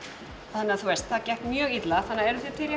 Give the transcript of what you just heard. þannig að það gekk mjög illa þannig að